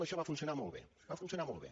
això va funcionar molt bé va funcionar molt bé